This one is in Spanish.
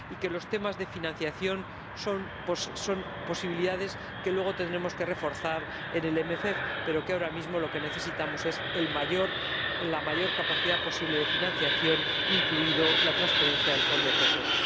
Los temas de financiación son posibilidades que luego tendremos que reforzar en el MFP, pero ahora mismo lo que necesitamos es la mayor capacidad posible de financiación, incluida la transferencia del Fondo de Cohesión.